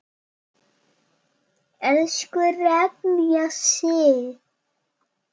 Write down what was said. Elsku Regína Sif.